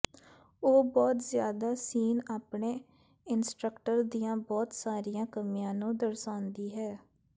ਉਹ ਬਹੁਤ ਜਿਆਦਾ ਸੀਨ ਆਪਣੇ ਇੰਸਟ੍ਰਕਟਰ ਦੀਆਂ ਬਹੁਤ ਸਾਰੀਆਂ ਕਮੀਆਂ ਨੂੰ ਦਰਸਾਉਂਦੀ ਹੈ